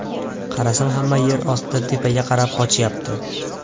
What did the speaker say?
Qarasam hamma yer ostidan tepaga qarab qochyapti.